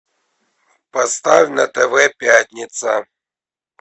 поставь на тв пятница